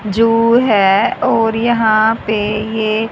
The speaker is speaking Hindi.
जो है और यहां पे ये--